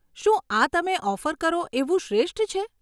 શું આ તમે ઓફર કરો એવું શ્રેષ્ઠ છે?